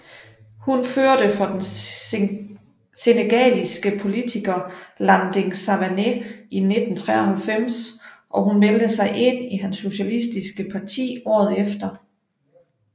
Hun førte for den senegaliske politiker Landing Savané i 1993 og meldte sig ind i hans socialistiske parti året efter